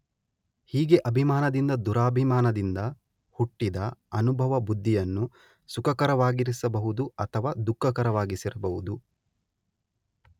ಹೀಗೆ ಅಭಿಮಾನದಿಂದ ದುರಭಿಮಾನದಿಂದ ಹುಟ್ಟಿದ ಅನುಭವ ಬುದ್ಧಿಯನ್ನು ಸುಖಕರವಾಗಿರಿಸಬಹುದು ಅಥವಾ ದುಃಖಕರವಾಗಿರಿಸಬಹುದು.